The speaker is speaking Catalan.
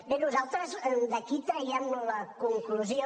bé nosaltres d’aquí traiem la conclusió